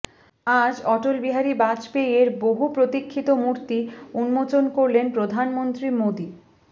আজ অটল বিহারী বাজপেয়ী এর বহু প্রতীক্ষিত মূর্তি উন্মোচন করলেন প্রধানমন্ত্রী মোদী